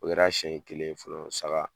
O kɛra siyɛn kelen ye fɔlɔ saga